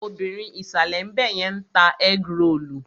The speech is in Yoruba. Obìrin ìsàlè ńbẹ̀yẹn ń ta ẹ́grolù.